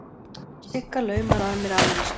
Sigga laumar að mér afmælisgjöf.